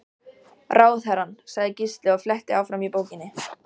Ráðherrann, sagði Gísli og fletti áfram í bókinni.